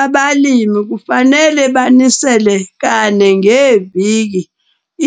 Abalimi kufanele banisele kane ngeviki